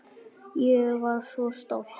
Ég var svo stolt.